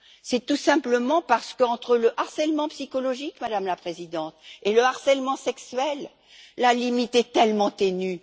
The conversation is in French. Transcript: C'est tout simplement parce qu'entre le harcèlement psychologique, Madame la Présidente, et le harcèlement sexuel, la limite est tellement ténue.